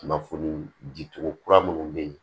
Kunnafoni di cogo kura minnu be yen